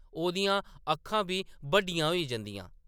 ओह्‌‌‌दियां अक्खां बी बड्डियां होई जंदियां ।